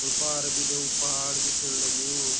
और पार भी दे उ पहाड़ दिखेण लग्युं।